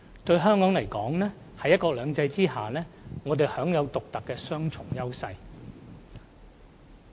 對香港而言，在"一國兩制"下，我們享有獨特的雙重優勢。